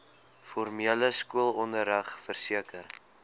formele skoolonderrig verseker